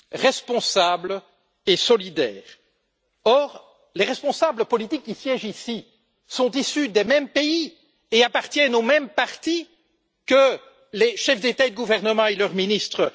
responsable et solidaire. Or, les responsables politiques qui siègent ici sont issus des mêmes pays et appartiennent aux mêmes partis que les chefs d'État et de gouvernement et leurs ministres.